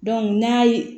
n'a ye